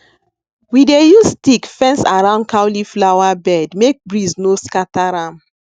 we dey use stick fence around cauliflower bed make breeze no scatter am